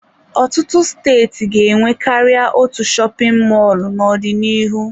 Ọtụtụ steeti ga-enwe karịa otu shopin mọlụ n'ọdịnihu.